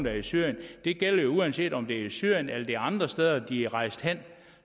er i syrien det gælder uanset om det er i syrien eller andre steder de er rejst hen at